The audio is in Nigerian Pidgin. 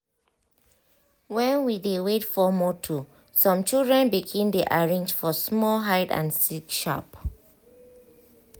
when we dey wait for motor some children begin dey arrange for small hide and seek sharp